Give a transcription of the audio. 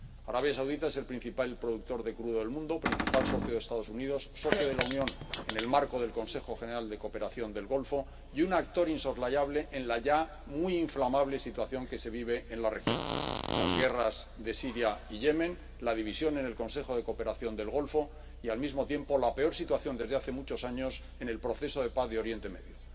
Arabia Saudita es el principal productor de crudo del mundo, principal socio de los Estados Unidos, socio de la Unión en el marco del Consejo de Cooperación del Golfo, y un actor insoslayable en la ya muy inflamable situación que se vive en la región las guerras de Siria y Yemen, la división en el Consejo de Cooperación del Golfo y, al mismo tiempo, la peor situación desde hace muchos años en el proceso de paz de Oriente Medio.